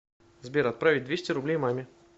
сбер отправить двести рублей маме